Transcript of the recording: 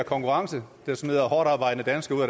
konkurrence der smider hårdtarbejdende danskere